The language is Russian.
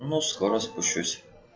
ну скоро спущусь